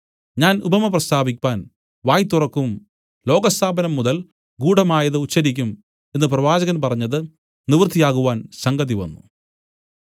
ഞാൻ ഉപമ പ്രസ്താവിപ്പാൻ വായ് തുറക്കും ലോകസ്ഥാപനം മുതൽ ഗൂഢമായത് ഉച്ചരിക്കും എന്നു പ്രവാചകൻ പറഞ്ഞത് നിവൃത്തിയാകുവാൻ സംഗതിവന്നു